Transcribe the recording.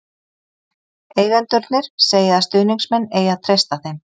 Eigendurnir segja að stuðningsmenn eigi að treysta þeim.